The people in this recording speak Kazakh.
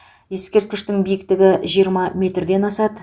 ескерткіштің биіктігі жиырма метрден асады